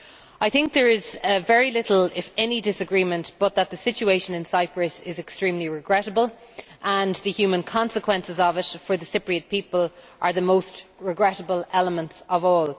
I think there is very little if any disagreement that the situation in Cyprus is extremely regrettable, and the human consequences of it for the Cypriot people are the most regrettable elements of all.